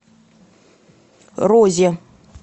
розе